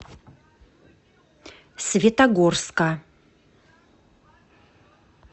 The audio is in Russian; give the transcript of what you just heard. светогорска